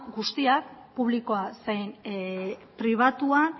guztia publikoa zein pribatua